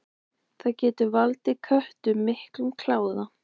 Það getur valdið köttum miklum kláða.